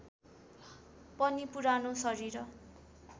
पनि पुरानो शरीर